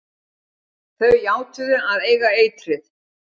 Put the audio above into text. Þau játuðu að eiga eitrið.